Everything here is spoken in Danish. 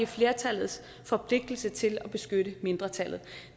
flertallets forpligtelse til at beskytte mindretallet